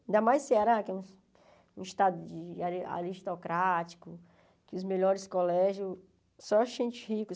Ainda mais o Ceará, que é um estado ari aristocrático, que os melhores colégios só ricos.